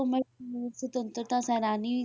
ਸੁਤੰਤਰਤਾ ਸੈਨਾਨੀ ਵੀ,